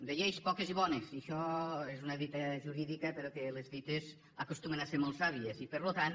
de lleis poques i bones i això és una dita jurídica però les dites acostumen a ser molt sàvies i per tant